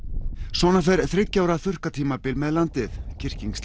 svona fer þriggja ára þurrkatímabil með landið